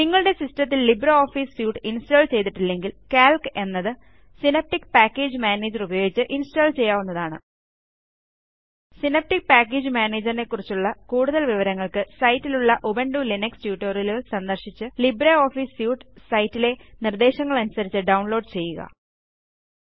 നിങ്ങളുടെ സിസ്റ്റത്തിൽ LibreOffice suite install ചെയ്തിട്ടില്ലെങ്കിൽ കാൽക്ക് എന്നത് സിനാപ്റ്റിക് പാക്കേജ് മാനേജർ ഉപയോഗിച്ച് ഇൻസ്റ്റാൾ ചെയ്യാവുന്നതാണ് സിനാപ്റ്റിക് പാക്കേജ് മാനേജർ നെക്കുറിച്ചുള്ള കൂടുതൽ വിവരങ്ങൾക്ക് സൈറ്റിലുള്ളUbuntu ലിനക്സ് ട്യൂട്ടോറിയലുകൾ സന്ദർശിച്ച് ലിബ്രിയോഫീസ് സ്യൂട്ട് സൈറ്റിലെ നിർദ്ദേശങ്ങൾക്കനുസരിച്ച് ഡൌൺലോഡ് ചെയ്യുക